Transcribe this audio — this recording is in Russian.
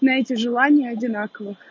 на эти желание одинаковых